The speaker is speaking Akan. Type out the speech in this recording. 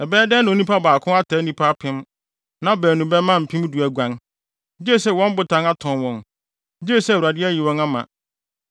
Ɛbɛyɛ dɛn na onipa baako ataa nnipa apem, na baanu bɛma mpem du aguan, gye sɛ wɔn Botan atɔn wɔn gye sɛ Awurade ayi wɔn ama.